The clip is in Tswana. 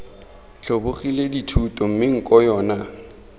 tlhobogile dithuto mme nko yona